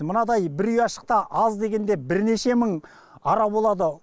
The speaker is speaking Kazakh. мынадай бір ұяшықта аз дегенде бірнеше мың ара болады